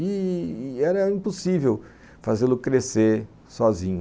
E e era impossível fazê-lo crescer sozinho.